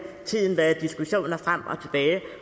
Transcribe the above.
tiden været diskussioner frem og tilbage